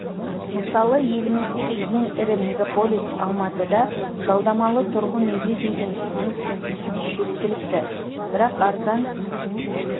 мысалы еліміздегі ең ірі мегаполис алматыда жалдамалы тұрғын үйге деген сұраныс пен ұсыныс жеткілікті бірақ арзан